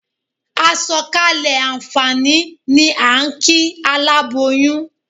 A sọ̀kalẹ̀ àǹfààní ni à ń kí aláboyún.